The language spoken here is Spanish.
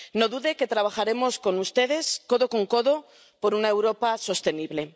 No dude de que trabajaremos con ustedes, codo con codo, por una Europa sostenible.